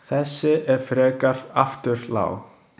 Þessi er frekar afturlág.